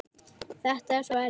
Þetta er svo erfitt.